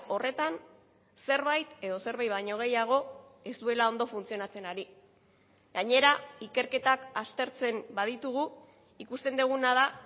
horretan zerbait edo zerbait baino gehiago ez duela ondo funtzionatzen ari gainera ikerketak aztertzen baditugu ikusten duguna da